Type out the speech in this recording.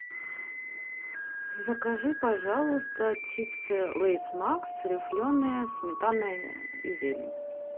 закажи пожалуйста чипсы лейс макс рифленые сметана и зелень